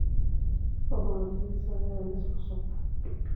fadlan ii samee liis cusub